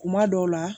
Kuma dɔw la